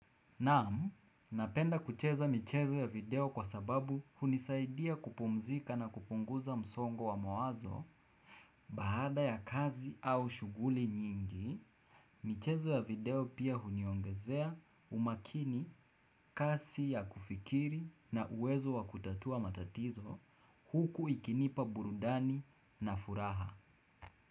Naam, napenda kucheza michezo ya video kwa sababu hunisaidia kupumzika na kupunguza msongo wa mawazo Bahada ya kazi au shuguli nyingi, michezo ya video pia huniongezea umakini kasi ya kufikiri na uwezo wa kutatua matatizo huku ikinipa burudani na furaha.